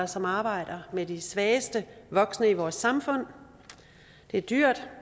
som arbejder med de svageste voksne i vores samfund det er dyrt